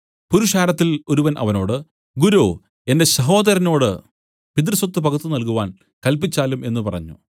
പുരുഷാരത്തിൽ ഒരുവൻ അവനോട് ഗുരോ എന്റെ സഹോദരനോട് പിതൃസ്വത്ത് പകുത്ത് നൽകുവാൻ കല്പിച്ചാലും എന്നു പറഞ്ഞു